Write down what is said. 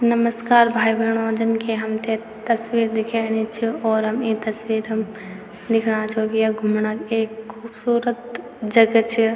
नमस्कार भाई बैणों जन के हमथे तस्वीर दिख्येणी च और हम ई तस्वीरं दिखणा छौ की यख घुमणा एक खुबसूरत जगह च।